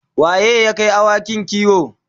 waye yake Kai awakin kiwo?